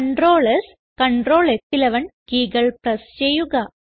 Ctrl സ് Ctrl ഫ്11 keyകൾ പ്രസ് ചെയ്യുക